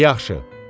Dedi: yaxşı.